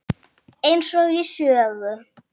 Eins og í sögu.